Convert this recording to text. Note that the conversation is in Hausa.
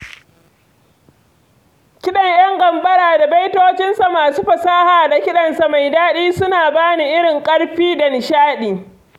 Kiɗan ƴan gambara da baitocinsa masu fasaha da kiɗansa mai daɗi suna bani wani irin ƙarfi da nishaɗi.